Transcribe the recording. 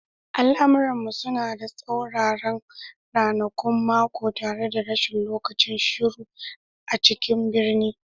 Al'amuran mu suna da tsauraran ranakun mako tare da rashin lokacin shiru a cikin birni